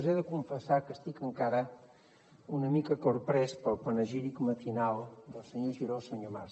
he de confessar que estic encara una mica corprès pel panegíric matinal del senyor giró al senyor mas